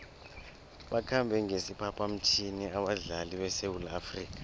bakhambe ngesiphaphamtjhini abadlali besewula afrika